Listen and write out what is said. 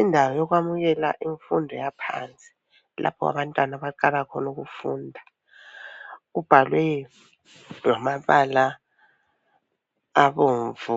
Indawo yokwamukela imfundo yaphansi lapho abantwana abaqala khona ukufunda. Kubhalwe ngamabala abomvu